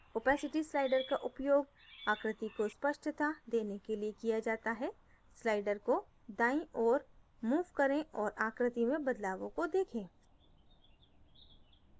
opacity slider का उपयोग आकृति को स्पष्टता देने के लिए किया जाता है slider को दाईं ओर move करें और आकृति में बदलावों में देखें